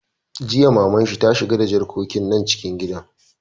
Jiya Maman shi ta ce 'Shiga da jarkokin nan cikin gida'!